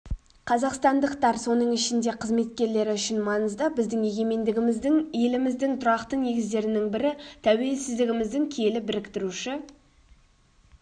қазақстандықтар соның ішінде қызметкерлері үшін маңызды біздің егемендігіміздің еліміздің тұрақты негіздерінің бірі тәуелсіздігіміздің киелі біріктіруші